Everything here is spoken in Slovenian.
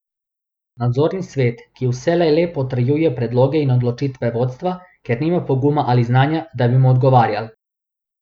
Nadzorni svet, ki vselej le potrjuje predloge in odločitve vodstva, ker nima poguma ali znanja, da bi mu ugovarjal.